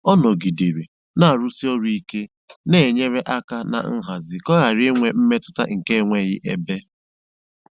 Ọ́ nọ̀gídéré nà-àrụ̀sí ọ́rụ̀ íké nà-ènyérè áká nà nhazì kà ọ́ ghárá ínwé mmétụ́tà nkè énweghị́ ébé.